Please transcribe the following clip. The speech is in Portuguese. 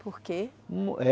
Por quê?